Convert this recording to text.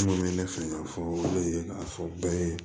N kɔni bɛ ne fɛ k'a fɔ o de ye k'a fɔ bɛɛ ye